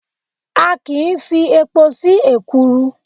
A kìí fi epo sí ekuru.